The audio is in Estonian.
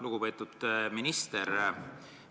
Lugupeetud minister!